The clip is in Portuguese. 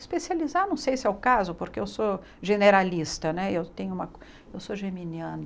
Especializar, não sei se é o caso, porque eu sou generalista né eu tenho uma, eu sou geminiana.